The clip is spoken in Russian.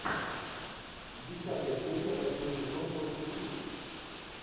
десятая серия восьмой сезон фортитьюд